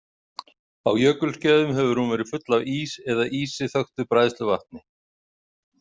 Á jökulskeiðum hefur hún verið full af ís eða ísi þöktu bræðsluvatni.